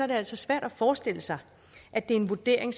det altså svært at forestille sig at det er en vurdering